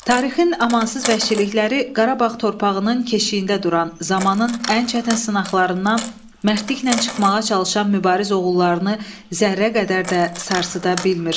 Tarixin amansız vəhşilikləri Qarabağ torpağının keşiyində duran zamanın ən çətin sınaqlarından mərdliklə çıxmağa çalışan mübariz oğullarını zərrə qədər də sarsıda bilmir.